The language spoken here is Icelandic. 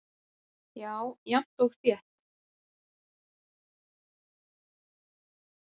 Já jafnt og þétt.